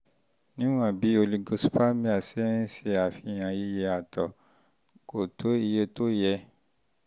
níwọ̀n bí oligospermia ń ṣe àfihàn iye àtọ̀ sperm count kò tó iye tó yẹ